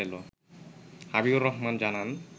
হাবিবুর রহমান জানান